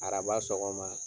Araba sɔgɔma